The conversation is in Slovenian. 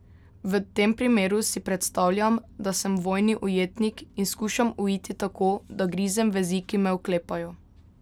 V tem primeru si predstavljam, da sem vojni ujetnik in skušam uiti tako, da grizem vezi, ki me oklepajo.